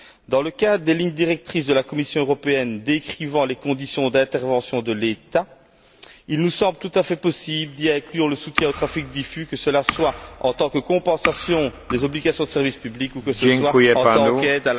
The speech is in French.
Dans le cadre des lignes directrices de la Commission européenne décrivant les conditions d'intervention de l'État, il nous semble tout à fait possible d'inclure le soutien au trafic diffus, que ce soit en tant que compensation des obligations de service public ou que ce soit en tant qu'aide